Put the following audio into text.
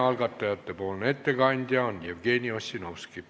Algatajate ettekandja on Jevgeni Ossinovski.